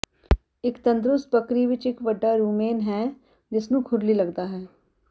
ਇੱਕ ਤੰਦਰੁਸਤ ਬੱਕਰੀ ਵਿੱਚ ਇੱਕ ਵੱਡਾ ਰੂਮੇਨ ਹੈ ਜਿਸਨੂੰ ਖੁਰਲੀ ਲੱਗਦਾ ਹੈ